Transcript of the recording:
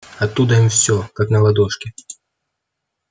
оттуда им всё как на ладошке